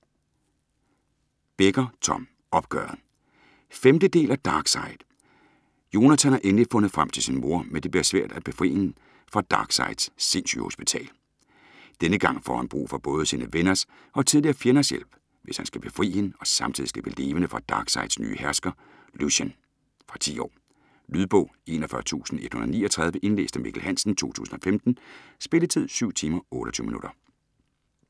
Becker, Tom: Opgøret 5. del af Darkside. Jonathan har endelig fundet frem til sin mor, men det bliver svært at befri hende fra Darksides sindssygehospital. Denne gang får han brug for både sine venners og tidligere fjenders hjælp, hvis han skal befri hende og samtidigt slippe levende fra Darksides nye hersker, Lucien. Fra 10 år. Lydbog 41139 Indlæst af Mikkel Hansen, 2015. Spilletid: 7 timer, 28 minutter.